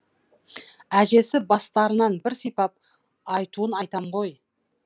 әжесі бастарынан бір сипап айтуын айтам ғой